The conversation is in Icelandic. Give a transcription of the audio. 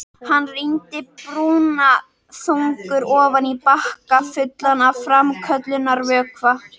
Hann rýndi brúnaþungur ofan í bakka fullan af framköllunarvökva.